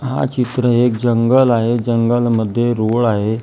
हा चित्र एक जंगल आहे जंगलमध्ये रूळ आहे.